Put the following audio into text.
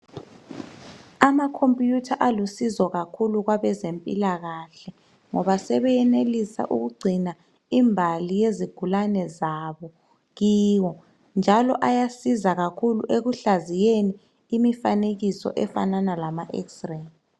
Amakhompuyutha alusizo kakhulu kwabezempilakahle ngoba sebeyenelisa ukugcina imbali yezigulane zabo kiwo njalo ayasiza kakhulu ekuhlaziyeni imifanekiso efana lama 'X-ray'.